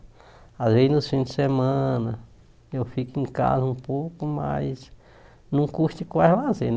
Às vezes nos fins de semana eu fico em casa um pouco, mas não custa quase lazer, né?